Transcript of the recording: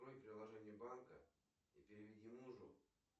открой приложение банка и переведи мужу